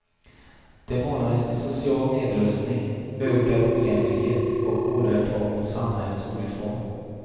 Det manades till social nedrustning, ökad ojämlikhet och hårdare tag mot samhällets olycksbarn.